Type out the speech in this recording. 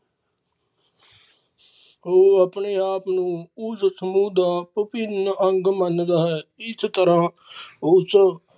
ਓ ਆਪਣੇ ਆਪ ਨੂੰ ਉਸ ਸਮੂਹ ਦਾ ਭਿੰਵਿਨ ਅੰਗ ਮੰਨਦਾ ਹੈ ਇਸ ਤਰਾਂ ਉਸ